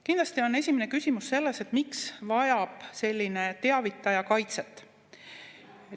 Kindlasti on esimene küsimus see, et miks vajab selline teavitaja kaitset.